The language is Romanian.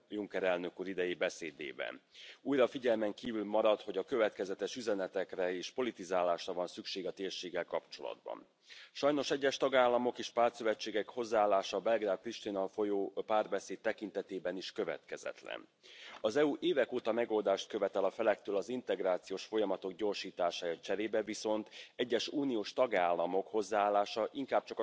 Nevoia de solidaritate se simte acum mai mult ca oricând, în această perioadă de provocări. Însă mi a lăsat un gust amar atitudinea domnului Weber, care, prin discursul său, nu face decât să slăbească proiectul european și să îngroașe rândurile euroscepticilor. Un discurs al dezbinării. Este exact opusul a ceea ce ne dorim cu toții și exact lucrul subliniat și de președintele Juncker.